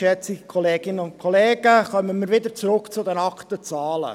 Kehren wir zurück zu den nackten Zahlen.